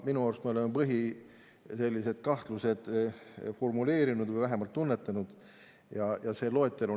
Minu arust me oleme põhilised kahtlused formuleerinud või vähemalt neid tunnetanud.